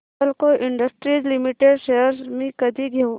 Hindalco industries limited shares मी कधी घेऊ